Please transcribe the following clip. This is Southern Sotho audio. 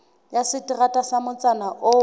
ya seterata sa motsana oo